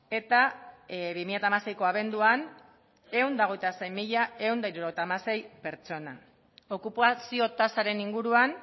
eta bi mila hamaseiko abenduan ehun eta hogeita sei mila ehun eta hirurogeita hamasei pertsona okupazio tasaren inguruan